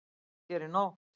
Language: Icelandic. Nóg að gera í nótt